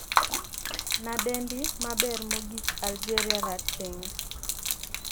nadendi maber mogik algeria 'rateng'